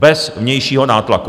Bez vnějšího nátlaku.